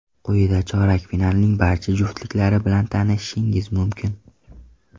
Quyida chorak finalning barcha juftliklari bilan tanishishingiz mumkin.